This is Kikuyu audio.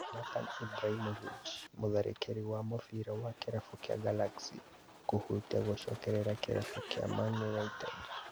Zlatan Ibrahimovic, mũtharĩkĩri wa mũbĩra wa kĩrabu kĩa Galaxy kũhutia gũcokerera kĩrabu kĩa Man united